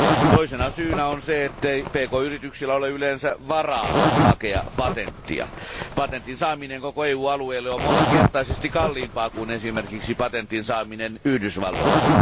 Toisena syynä on se, ettei pk yrityksillä ole yleensä varaa hakea patenttia. Patentin saaminen koko EUn alueelle on moninkertaisesti kalliimpaa kuin esimerkiksi patentin saaminen Yhdysvalloissa.